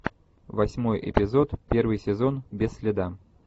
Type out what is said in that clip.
восьмой эпизод первый сезон без следа